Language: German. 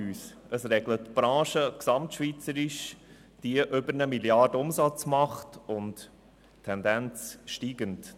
Es regelt eine Branche, die gesamtschweizerisch über 1 Mrd. Franken Umsatz macht, Tendenz steigend.